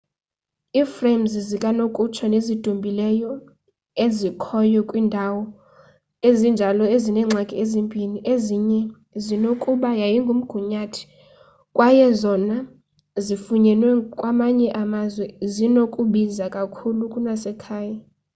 i-frames zikanokutsho nezidumileyo ezikhoyo kwiindawo ezinjalo zineengxaki ezimbini ezinye zinokuba yimigunyathi kwaye ezona zifunyenwe kwamanye amazwe zinokubiza kakhulu kunasekhaya